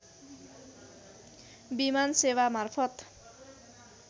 विमान सेवा मार्फत